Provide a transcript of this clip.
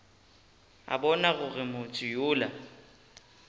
a bona gore motho yola